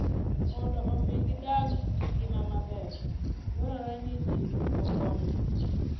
Mondo omi gidag ngimagi maber, dwarore ni ji okonygi.